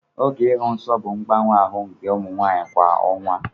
Oge ịhụ nsọ bụ mgbanwe ahụ nke ụmụ nwanyị kwa ọnwa.